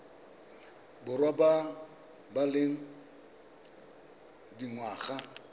borwa ba ba leng dingwaga